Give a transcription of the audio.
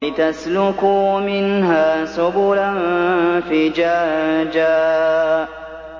لِّتَسْلُكُوا مِنْهَا سُبُلًا فِجَاجًا